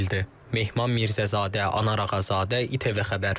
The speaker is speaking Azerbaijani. Mehman Mirzəzadə, Anar Ağazadə, İTV xəbər.